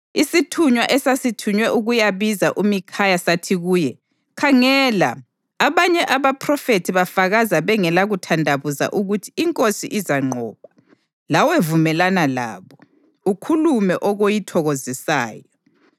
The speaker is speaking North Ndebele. Isithunywa esasithunywe ukuyabiza uMikhaya sathi kuye, “Khangela, abanye abaphrofethi bafakaza bengela kuthandabuza ukuthi inkosi izanqoba. Lawe vumelana labo, ukhulume okuyithokozisayo.”